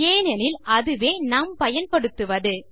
ஏனென்றால் அதுவே நாம் பயன்படுத்துவது